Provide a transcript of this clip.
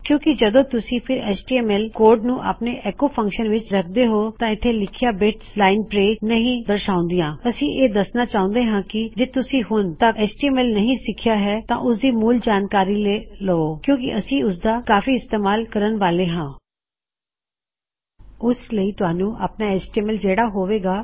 ਕਿੳਂ ਕਿ ਜਦੋ ਤੁਸੀਂ ਇਕ ਐਚਟੀਐਮਐਲ ਕੋਡ ਨੂੰ ਆਪਣੇ ਐੱਕੋ ਫਂਕਸ਼ਨ ਵਿੱਚ ਰੱਖਦੇ ਹੋਂ ਤਾਂ ਇੱਥੇ ਲ਼ੀਖੀਆਂ ਬਿਟਸ ਲਾਇਨ ਬਰੇਕ ਨਹੀ ਦਰਸ਼ਾਉਂਦਿਆਂਅਸੀ ਇਹ ਦਸਣਾ ਚਾਹੁੰਦੇ ਹਾਂ ਕੀ ਜੇ ਤੁਸੀਂ ਹੁਨ ਤੱਕ ਐਚਟੀਐਮਐਲ ਨਹੀ ਸਿਖਿਆ ਹੈ ਤਾਂ ਓਸ ਦੀ ਮੂਲ ਜਾਨਕਾਰੀ ਲੈ ਲਵੋ ਕਿੳਂ ਕਿ ਅਸੀਂ ੳਸਦਾ ਕਾਫੀ ਇਸਤੇਮਾਲ ਕਰਣ ਵਾਲੇ ਹਾਂ ੳਸ ਲਈ ਤੁਹਾਨੂੰ ਆਪਣਾ ਐਚਟੀਐਮਐਲ ਜੋਡਨਾ ਹੋਵੇ ਗਾ